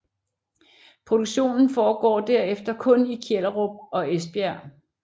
Produktionen foregår derefter kun i Kjellerup og Esbjerg